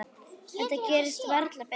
Þetta gerist varla betra.